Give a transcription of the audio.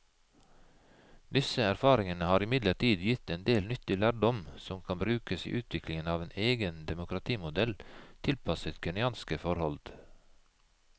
Disse erfaringene har imidlertid gitt en del nyttig lærdom som kan brukes i utviklingen av en egen demokratimodell tilpasset kenyanske forhold.